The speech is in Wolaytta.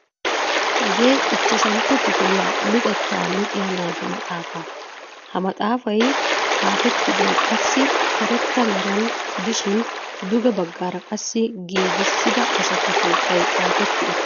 Hagee ichchashantto kifilyaa luxettaa luxiyaa naatu maxaafaa. Ha maxaafay xaafettidoy qassi karetta meraan gidishin duge baggaara qassi giigisida asatu sunttay xaafetti uttiis.